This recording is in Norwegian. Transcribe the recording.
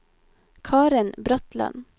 Karen Bratland